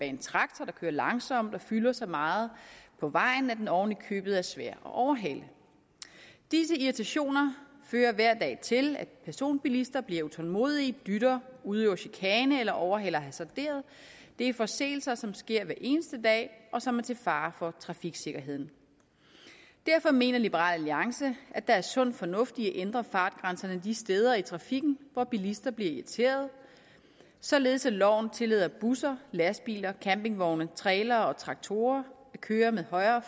en traktor der kører langsomt og fylder så meget på vejen at den oven i købet er svær at overhale disse irritationer fører hver dag til at personbilister bliver utålmodige dytter udøver chikane eller overhaler hasarderet det er forseelser som sker hver eneste dag og som er til fare for trafiksikkerheden derfor mener liberal alliance at der er sund fornuft i at ændre fartgrænserne de steder i trafikken hvor bilister bliver irriteret således at loven tillader busser lastbiler campingvogne trailere og traktorer at køre med højere